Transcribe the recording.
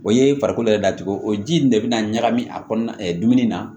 O ye farikolo yɛrɛ datugu o ji in de bɛ na ɲagami a kɔnɔna dumuni na